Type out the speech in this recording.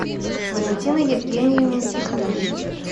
валентины евгеньевны тихоновой